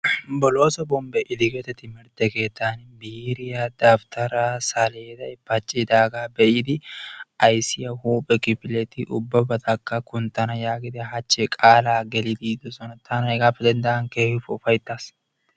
Bolloso Bombbe Idigeeti timirtte keettan biiriyaa, dawutara, saleday, paccidaaga be'ida ayssiya huuphe kifileti ubbakka kunttana giidi qaala gelidi yiidoosona, taani hegappe denddaagan keehippe ufayttas.